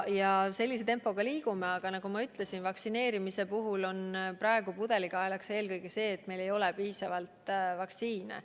Praeguse tempoga me liigume sellepärast, et nagu ma ütlesin, vaktsineerimise puhul on pudelikaelaks eelkõige see, et meil ei ole piisavalt vaktsiine.